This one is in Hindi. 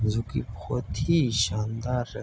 जो की बहोत ही शानदार --